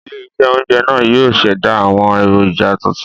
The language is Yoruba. Ilé -iṣẹ́ oje náà yóò ṣẹ̀dá àwọn èròjà tuntun